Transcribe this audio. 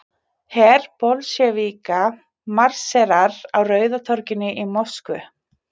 Her Bolsévíka marserar á Rauða torginu í Moskvu.